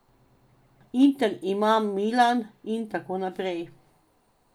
Inter ima Milan in tako naprej.